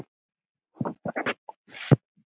En enn beið hann.